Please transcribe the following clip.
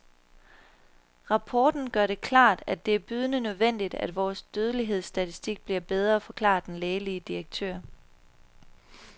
Rapporten gør det klart, at det er bydende nødvendigt, at vores dødelighedsstatistik bliver bedre, forklarer den lægelige direktør.